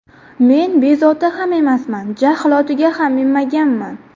Men bezovta ham emasman, jahl otiga ham minmaganman.